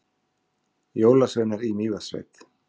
Jólasveinar í Mývatnssveit